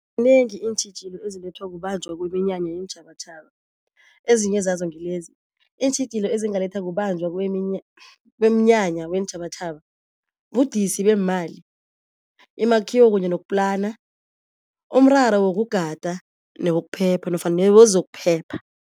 Iintjhijilo ezilethwa kubanjwa kweminyanya yeentjhabatjhaba ezinye zazo ngilezi, iintjhijilo ezingalethwa kubanjwa kweminyanya weentjhabatjhaba budisi beemali, imakhiwo kunye nokuplana, umraro wokugada newokuphepha nofana newezokuphepha.